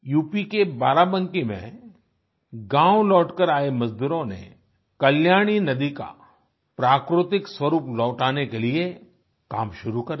UP के बाराबंकी में गांव लौटकर आए मजदूरों ने कल्याणी नदी का प्राकृतिक स्वरूप लौटाने के लिए काम शुरू कर दिया